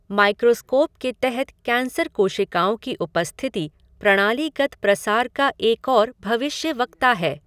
Microscope के तहत cancer कोशिकाओं की उपस्थिति प्रणालीगत प्रसार का एक और भविष्यवक्ता है।